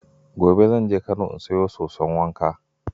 Gobe zan je Kano in sayo soson wanka.